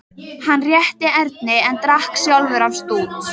Hann rétti Erni en drakk sjálfur af stút.